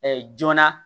joona